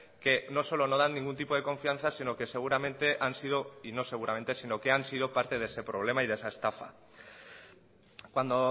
que no solo no dan ningún tipo de confianza sino que seguramente y no seguramente sino que han sido parte de ese problema y de esa estafa cuando